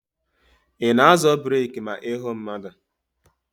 Ị na-azọ breeki ma ị hụ mmadụ?